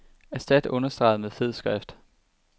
Erstat understreget med fed skrift.